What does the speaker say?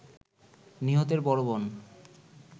নিহতের বড় বোন